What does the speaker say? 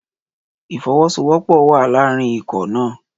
Ìfọwọ́sowọ́pọ̀ wà láàrin ikọ̀ náà.